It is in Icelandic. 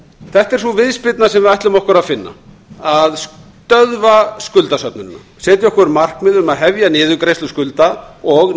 þetta er sú viðspyrna sem við ætlum okkur að finna að stöðva skuldasöfnunina setja okkur markmið um að hefja niðurgreiðslu skulda og